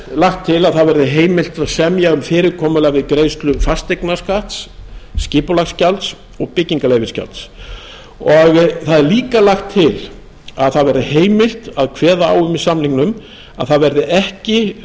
lagt til að heimilt verði að semja um fyrirkomulag við greiðslufasteignaskatts skipulagsgjalds og byggingarleyfisgjalds og það er líka lagt til að það verði heimilt að kveða á um í samningnum að ekki verði lagðir